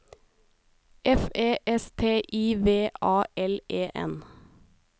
F E S T I V A L E N